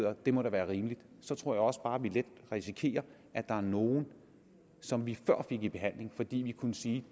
at det må da være rimeligt så tror jeg også bare at vi let risikerer at der er nogle som vi før fik i behandling fordi vi kunne sige